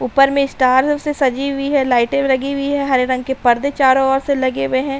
ऊपर में स्टार से सजी हुई है। लाइटें लगी हुई हैं। हरे रंग के पर्दे चारों ओर से लगे हुए हैं।